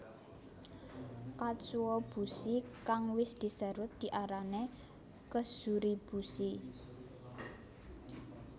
Katsuobushi kang wis diserut diarani kezuribushi